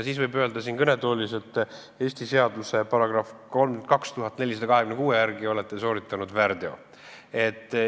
Siis võiks öelda siin kõnetoolis, et Eesti seaduse § 32 426 järgi olete sooritanud väärteo.